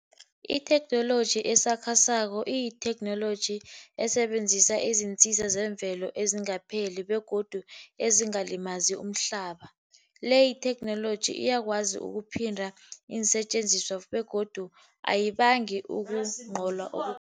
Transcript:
Itheknoloji esakhasako iyitheknoloji esebenzisa iziinsiza zemvelo ezingapheli, begodu ezingalimazi umhlaba. Le itheknoloji iyakwazi ukuphinda iinsetjenziswa, begodu ayibangi ukugcola.